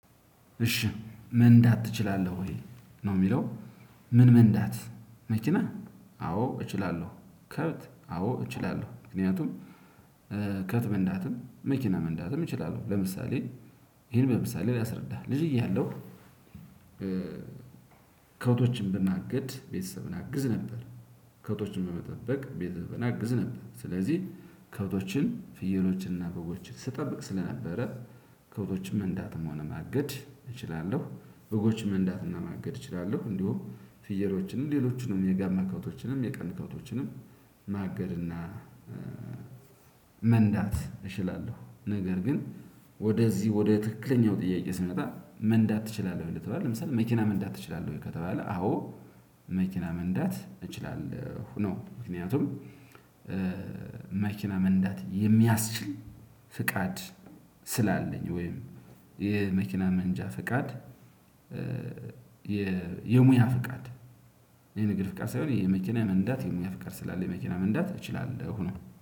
እሺ መንዳት ትችላለህ ወይ ነው የሚለው ምን? መንዳት መኪና አዎ እችላለሁ ከብት አዎ እችላለሁ። ምክንያቱም ከብት መንዳትም መኪና መንዳትም እችላለሁ። ለምሳሌ ይሄን በምሳሌ ላስረዳህ ልጅ እያለሁ ከብቶችን በማገድ ቤተሰብን አግዝ ነበር። ከብቶችን በመጠበቅ ቤተሰብን አግዝ ነበር። ስለዚህ ከብቶችን ፍየሎችንና በጎችን ስትጠብቅ ስለነበረ ከብቶችን መንዳትም ሆነ ማገድ እችላለሁ። በጎች መንዳትና ማገድ እችላለሁ እንዲሁም ፍየሎችንም ሌሎችንም የጋማ ከብቶችንም የቀንድ ከብቶችንም ማገድና መንዳት እችላለሁ። ነገር ግን ወደዚህ ወደ ትክክለኛው ጥያቄ ስመጣ መንዳት ትችላለህ ወይ ለተባለው ለምሳሌ መኪና መንዳት ትችላለህ ወይ? ከተባለ አዎ መኪና መንዳት እችላለሁ ነው። ምክንያቱም መኪና መንዳት የሚያስችል ፍቃድ ስላለኝ ወይም የመኪና መንጃ ፍቃድ። የሙያ ፍቃድ የንግድ ፍቃድ ሳይሆን የመኪና መንዳት የሙያ ፍቃድ ስላለ መኪና መንደት እችላለሁ ነው